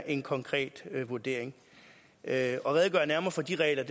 en konkret vurdering at redegøre nærmere for de regler